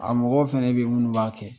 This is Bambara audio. A mɔgɔw fana bɛ yen minnu b'a kɛ